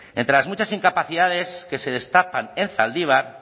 entre las muchas incapacidades que se destapan en zaldibar